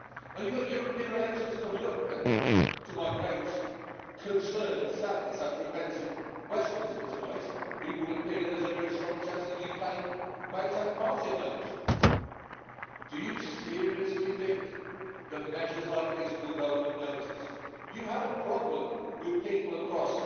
You've got European elections coming up and, to my great concern and sadness after events in Westminster tonight, it would appear there's a very strong chance that the UK may take part in those. Do you seriously think that measures like these will go unnoticed? You had a problem with people across